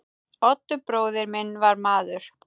Oddur bróðir minn var maður.